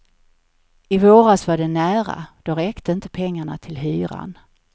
I våras var det nära, då räckte inte pengarna till hyran.